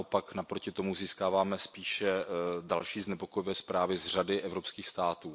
Naopak naproti tomu získáváme spíše další znepokojivé zprávy z řady evropských států.